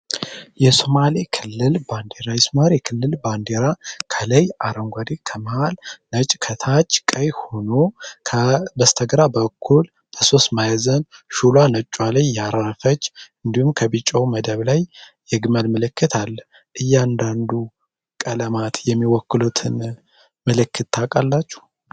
የሱማሌ ክልል ባንዴራ የክልል ባንዲራ ከላይ አረንጓዴ ከመሃል ነጭ ከታች ቀይ ሆኖ በስተግራ በኩል በ3 ማዕዘን ሹሉዋ ነጯ ላይ ያረፈች እንዲሁም ፤ከቢጮው መደብ ላይ የግመል ምልክት አለ። እያንዳንዱ ቀለማት የሚወክሉትን ምልክት ታቃላችሁ?